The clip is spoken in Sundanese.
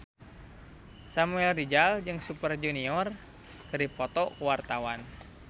Samuel Rizal jeung Super Junior keur dipoto ku wartawan